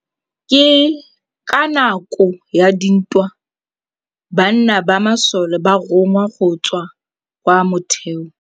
Ka nakô ya dintwa banna ba masole ba rongwa go tswa kwa mothêô.